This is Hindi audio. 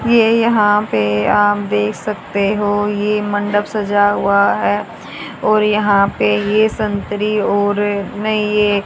ये यहां पे आप देख सकते हो ये मंडप सजा हुआ है और यहां पे ये संत्री और नहीं ये--